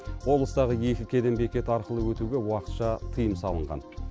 облыстағы екі кеден бекеті арқылы өтуге уақытша тыйым салынған